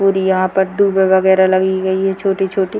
और यहां पर वगैरा लगी गई है छोटी-छोटी।